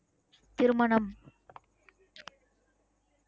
திருமணம்